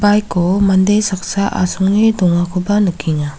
baik o mande saksa asonge dongakoba nikenga.